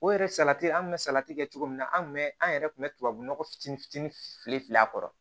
O yɛrɛ salati an kun bɛ salati kɛ cogo min na an tun bɛ an yɛrɛ tun bɛ tubabu nɔgɔ fitini fitini fili fili a kɔrɔ